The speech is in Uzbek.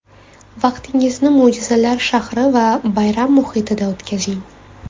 Vaqtingizni mo‘jizalar shahri va bayram muhitida o‘tkazing.